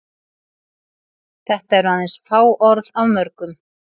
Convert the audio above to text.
Þetta eru aðeins fá orð af mörgum.